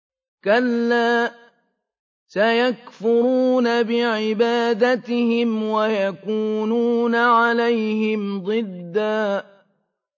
كَلَّا ۚ سَيَكْفُرُونَ بِعِبَادَتِهِمْ وَيَكُونُونَ عَلَيْهِمْ ضِدًّا